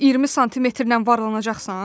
20 smlə varlanacaqsan?